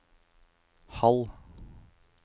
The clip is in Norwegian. halv